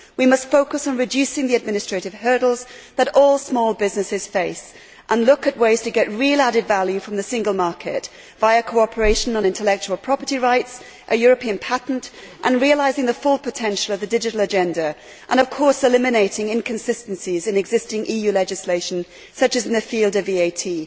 We must focus on reducing the administrative hurdles that all small businesses face and look at ways to get real added value from the Single Market via cooperation on intellectual property rights, a European patent and realising the full potential of the Digital Agenda and, of course, eliminating inconsistencies in existing EU legislation, such as in the field of VAT.